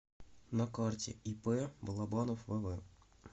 на карте ип балобанов вв